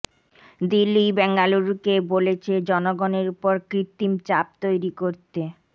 দিল্লিই বেঙ্গালুরুকে বলেছে জনগণের ওপর কৃত্রিম চাপ তৈরি করতে